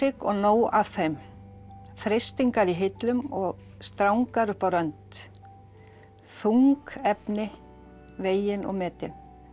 og nóg af þeim freistingar í hillum og strangar upp á rönd þung efni vegin og metin